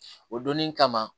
O donnin kama